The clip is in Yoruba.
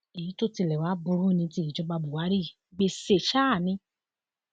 èyí tó tilẹ wàá burú ni ti ìjọba buhari yìí gbéṣẹ sáà ni